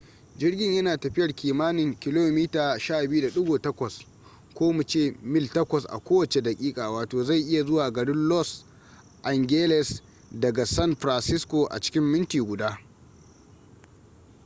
jirgin ya na tafiyar kimanin kilomita 12.8 ko mu ce mil 8 a kowace daƙiƙa wato zai iya zuwa garin los angeles daga san francisco a cikin minti guda